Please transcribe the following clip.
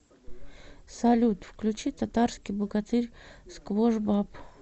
салют включи татарский богатырь сквош баб